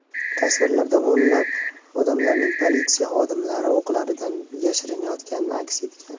Tasvirlarda o‘nlab odamlarning politsiya xodimlari o‘qlaridan yashirinayotgani aks etgan.